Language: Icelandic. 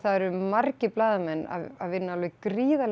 eru margir blaðamenn að vinna alveg gríðarlega